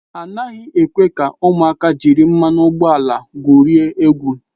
A naghị ekwe ka ụmụaka jiri mmanụ ụgbọala egwurie egwu.